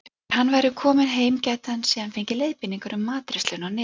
Þegar hann væri kominn heim gæti hann síðan fengið leiðbeiningar um matreiðsluna á Netinu.